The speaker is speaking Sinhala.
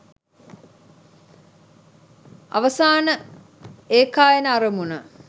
අවසාන ඒකායන අරමුණ